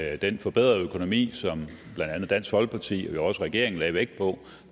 at den forbedrede økonomi som blandt andet dansk folkeparti og jo også regeringen lagde vægt på